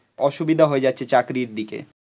অসুবিধা হয়ে যাচ্ছে চাকরির দিকে